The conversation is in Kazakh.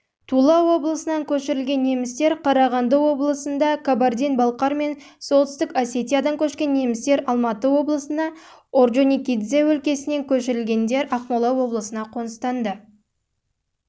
тула облысынан көшірілген немістер қарағанды облысында кабардин-балкар мен солтүстік осетиядан көшкен немістер алматы облысына орджоникидзе өлкесінен